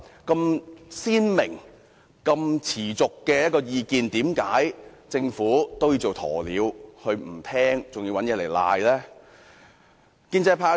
這麼鮮明、持續的意見，為何政府都要做鴕鳥不聽，還要耍賴？